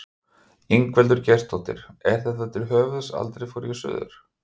Ingveldur Geirsdóttir: Er þetta til höfuðs Aldrei fór ég suður?